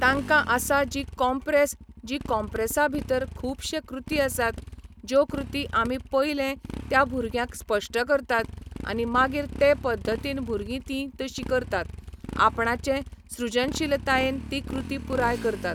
तांकां आसा जी कॉम्प्रेस जी कॉम्प्रेसा भितर खूबशे कृती आसात ज्यो कृती आमी पयलें त्या भुरग्यांक स्पश्ट करतात आनी मागीर ते पद्दतीन भुरगीं तीं तशीं करतात आपणाचे सृजनशीलतायेन तीं कृती पूराय करतात.